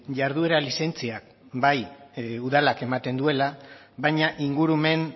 jarduera lizentziak bai udalak ematen duela baina ingurumen